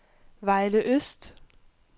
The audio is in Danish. Vejle Øst